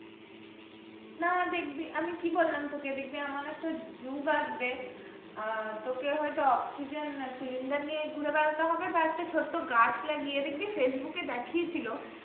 না দেখবি আমি কি বললাম তোকে দেখবি এমন একটা যুগ আসবে আহ তোকে হয়তো অক্সিজেন cylinder নিয়ে ঘুরে বেড়াতে হবে বা একটা ছোট্ট গাছ লাগিয়ে দেখবি ফেসবুকে দেখিয়েছিল,